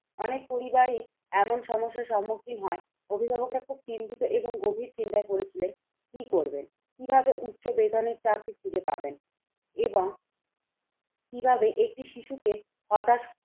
অনেক পরিবারই এমন সমস্যা সমুখীন হয়, অভিভাবকরা খুব চিন্তিত এবং গভীর চিন্তায় পড়েছিলেন। কি করবেন কিভাবে উচ্চ বেতনের চাকরি খুঁজে পাবেন এবং কিভাবে একটি শিশুকে হতাশ